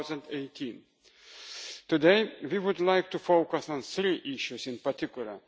of 2018. Today, we would like to focus on three issues in particular.